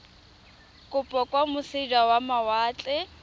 kopo kwa moseja wa mawatle